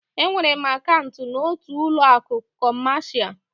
Enwere m akaụntụ n'otu ụlọ akụ kọmasia.